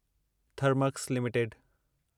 Thermax limited